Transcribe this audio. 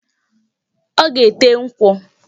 Ọ ga-ete nkwụ.